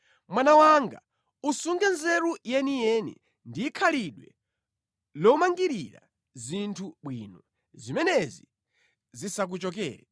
Mwana wanga usunge nzeru yeniyeni ndi khalidwe lomalingarira zinthu bwino. Zimenezi zisakuchokere.